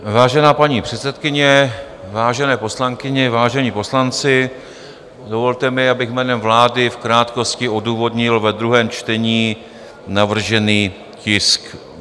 Vážená paní předsedkyně, vážené poslankyně, vážení poslanci, dovolte mi, abych jménem vlády v krátkosti odůvodnil ve druhém čtení navržený tisk.